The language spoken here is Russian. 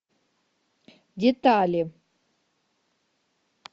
детали